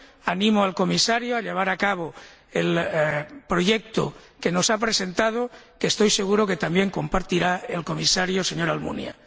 animo al Comisario, a llevar a cabo el proyecto que nos ha presentado, que estoy seguro de que también compartirá el Comisario señor Almunia.